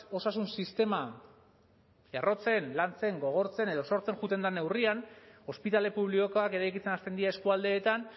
osasun sistema errotzen lantzen gogortzen edo sortzen joaten den neurrian ospitale publikoak eraikitzen hasten dira eskualdeetan